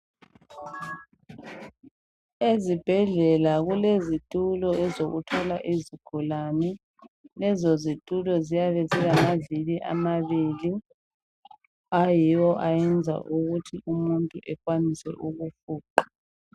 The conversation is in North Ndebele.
Ezibhedlela kulezitulo ezokuthola izigulane lezo zitulo ziyabe zilama vili amabili ayiwo ayenzwa ukuthi umuntu ekhanise ukufuqa